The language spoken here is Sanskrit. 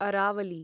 अरावली